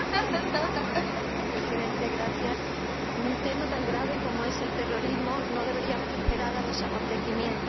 Señor Presidente, en un tema tan grave como es el terrorismo no deberíamos esperar a los acontecimientos para actuar.